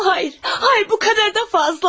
Xeyr, xeyr bu qədər də çoxdur.